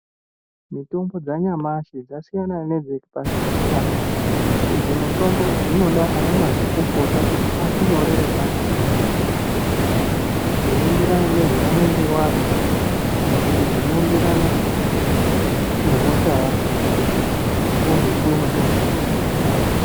Mitombo dzanyamashi dzasiyana nedzepasichigare, idzi mitombo dzinoda vana mazvikokota kuti akunyorere pasi zvinoenderana nezvaunenge wazwa kana kuti zvinoenderana nehosha yako wozopiwa mitombo dzacho.